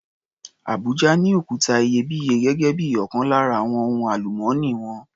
Abuja ní òkuta iyebíye gẹ́gé bí ọkan lára àwon ohun àlùmọ́nì wọn.